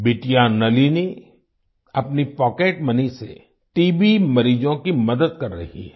बिटिया नलिनी अपनी pocket money से टीबी मरीजों की मदद कर रही है